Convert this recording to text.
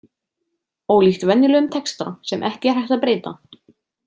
Ólíkt venjulegum texta sem ekki er hægt að breyta.